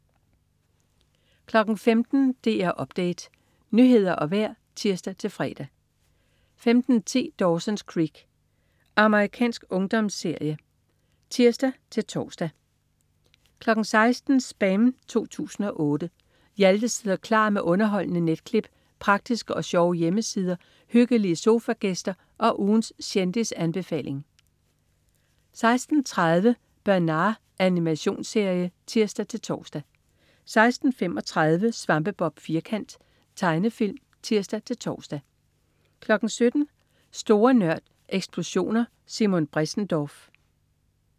15.00 DR Update. Nyheder og vejr (tirs-fre) 15.10 Dawson's Creek. Amerikansk ungdomsserie (tirs-tors) 16.00 SPAM 2008. Hjalte sidder klar med underholdende netklip, praktiske og sjove hjemmesider, hyggelige sofagæster og ugens kendisanbefaling 16.30 Bernard. Animationsserie (tirs-tors) 16.35 Svampebob Firkant. Tegnefilm (tirs-tors) 17.00 Store Nørd. Eksplosioner. Simon Bressendorf